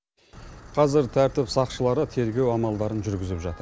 қазір тәртіп сақшылары тергеу амалдарын жүргізіп жатыр